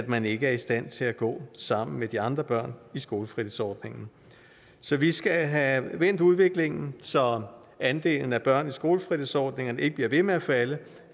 man ikke er i stand til at gå sammen med de andre børn i skolefritidsordningen så vi skal have vendt udviklingen så andelen af børn i skolefritidsordningerne ikke bliver ved med at falde